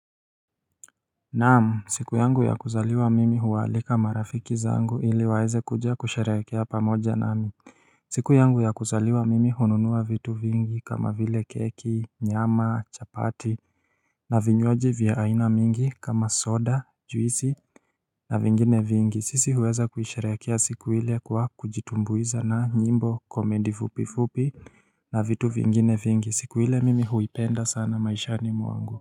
Naam! Siku yangu ya kuzaliwa mimi huwaalika marafiki zangu ili waweze kuja kusherekea pamoja nami siku yangu ya kuzaliwa mimi hununua vitu vingi kama vile keki nyama chapati na vinywaji vya aina mingi kama soda juisi na vingine vingi sisi huweza kusherekea siku ile kwa kujitumbuiza na nyimbo komendi fupi fupi na vitu vingine vingi siku ile mimi huipenda sana maishani mwangu.